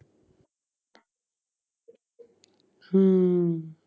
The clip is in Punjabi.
ਹਮ